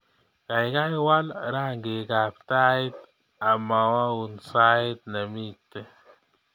Gaigai waal rangikab tait amwaun sait nemeti